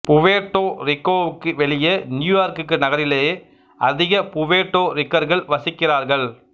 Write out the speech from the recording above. Puerto ரிக்கோவுக்கு வெளியே New York நகரிலேயே அதிக புவேர்ட்டோ ரிக்கர்கள் வசிக்கிறார்கள்